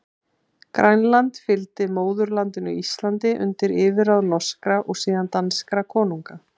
Grænland fylgdi móðurlandinu Íslandi undir yfirráð norskra, og síðan danskra konunga.